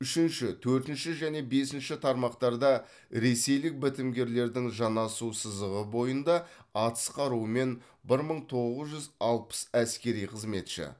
үшінші төртінші және бесінші тармақтарда ресейлік бітімгерлердің жанасу сызығы бойында атыс қаруымен бір мың тоғыз жүз алпыс әскери қызметші